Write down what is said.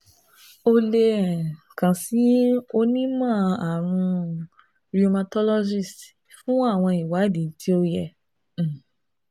O le um kan si onimọ-arun um rheumatologist fun awọn iwadii to yẹ um